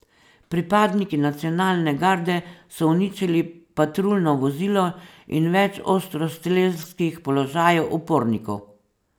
Pripadniki nacionalne garde so uničili patruljno vozilo in več ostrostrelskih položajev upornikov.